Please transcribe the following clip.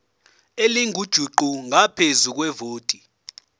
elingujuqu ngaphezu kwevoti